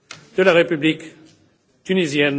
de la République de Tunisie.